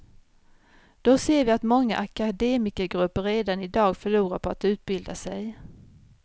Då ser vi att många akademikergrupper redan i dag förlorar på att utbilda sig.